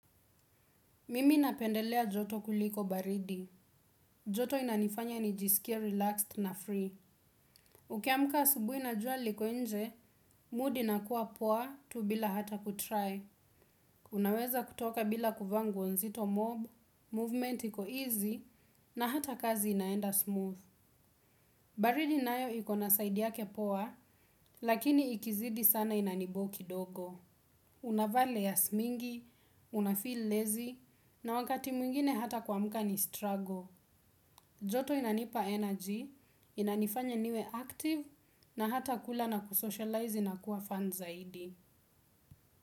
Mimi napendelea joto kuliko baridi. Joto inanifanya nijiskie relaxed na free. Ukiamka asubuhi na jua liko nje mood inakua poa tu bila hata kutry. Unaweza kutoka bila kuvaa nguo nzito mob movement iko easy na hata kazi inaenda smooth. Baridi nayo iko na side yake poa lakini ikizidi sana inaniboo kidogo. Unavaa layer's mingi unafil lazy na wakato mwingine hta kuamka ni stru.